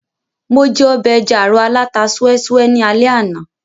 Mo jẹ ọbẹ̀ ẹja-àrọ̀ aláta súẹ́ súẹ́ ní alé àná